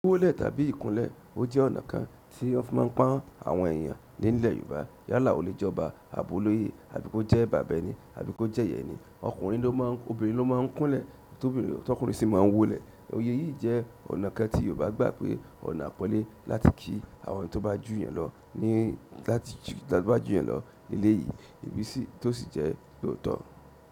Wólẹ̀ tàbí ìkúnlé, o jẹ́ ọ̀nà kan tí wọ́n fi máa ń pon àwọn èèyàn le ni ìl Yorùbá. Yálà ò le jọba, abo lóye àbí kó jẹ́ bàba ẹ́ni àbí kó jẹ́ ìya ẹ́nì. Okìnrin ló máa ń kúnlé, tọkùnrin sì máa ń wólẹ̀. Eleyii yìí jẹ́ ọ̀nà kan tí Yorùbá gbà pé ọ̀nà àpọ́nlé láti ki àwọn ẹni tó bá jù yàn lọ ní láti bá jù yàn lọ nílé yìí, èyí sì tó sì jẹ́ lóòótọ́.